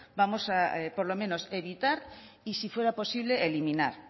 vamos a por lo menos evitar y si fuera posible eliminar